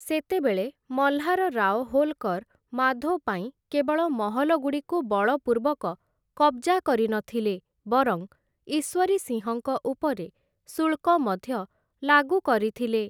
ସେତେବେଳେ ମହ୍ଲାର ରାଓ ହୋଲକର ମାଧୋ ପାଇଁ କେବଳ ମହଲଗୁଡ଼ିକୁ ବଳପୂର୍ବକ କବ୍‌ଜା କରିନଥିଲେ, ବରଂ ଈଶ୍ୱରୀ ସିଂହଙ୍କ ଉପରେ ଶୁଳ୍କ ମଧ୍ୟ ଲାଗୁ କରିଥିଲେ ।